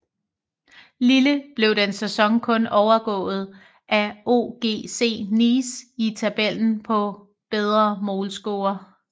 Lille blev den sæson kun overgået af OGC Nice i tabellen på bedre målscore